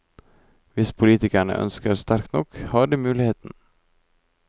Hvis politikerne ønsker sterkt nok, har de muligheten.